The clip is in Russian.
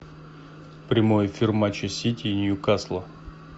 прямой эфир матча сити и ньюкасла